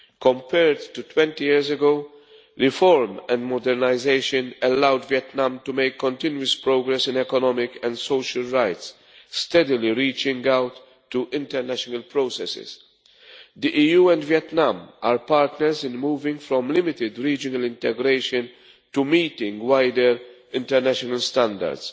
Compared to 20 years ago, reform and modernisation have allowed Vietnam to make continuous progress in economic and social rights, steadily reaching out to international processes. The EU and Vietnam are partners in moving from limited regional integration to meeting wider international standards.